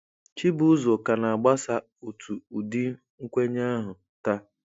Chibuzor ka na-agbasa otu ụdị nkwenye ahụ taa.